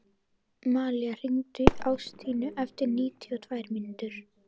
Malía, hringdu í Ástínu eftir níutíu og tvær mínútur.